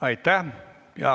Aitäh!